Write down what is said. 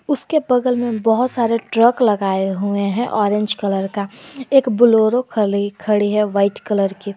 उसके बगल में बहुत सारे ट्रक लगाए हुए हैं ऑरेंज कलर का एक बोलेरो खली खड़ी है वाइट कलर की।